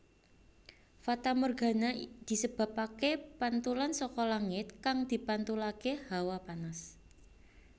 Fatamorgana disebabaké pantulan saka langit kang dipantulaké hawa panas